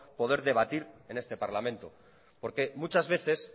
poder debatir en este parlamento porque muchas veces